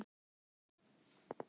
Málinu er lokið.